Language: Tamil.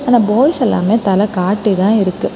ஆனா பாய்ஸ் எல்லாமே தலெ காட்டிதா இருக்கு.